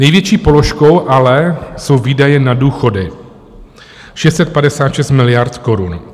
Největší položkou ale jsou výdaje na důchody - 656 miliard korun.